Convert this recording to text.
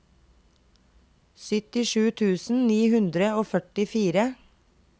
syttisju tusen ni hundre og førtifire